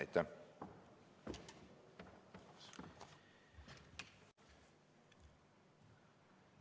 Aitäh!